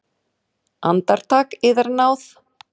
Andartak, yðar náð!